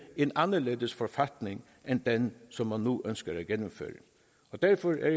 en anderledes forfatning end den som man nu ønsker gennemført derfor er